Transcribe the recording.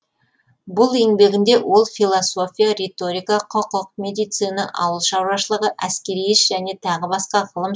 бұл еңбегінде ол философия риторика құқық медицина ауыл шаруашылығы әскери іс және тағы басқа ғылым